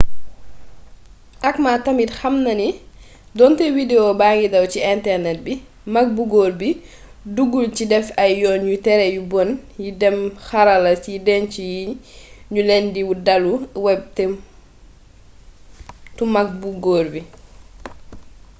acma tamit xamnani donté widewo bangi daw ci internet bi mak bu góor bi duggul ci déf ay yoon yu téré yu bon yi déém xarala yi déncu ñu leen ci dalu web tu mag bu góor bi